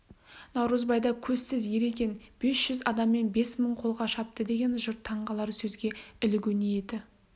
наурызбайда көзсіз ер екен бес жүз адаммен бес мың қолға шапты деген жұрт таң қалар сөзге ілігу ниеті